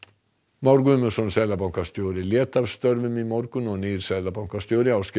Már Guðmundsson seðlabankastjóri lét af störfum í morgun og nýr seðlabankastjóri Ásgeir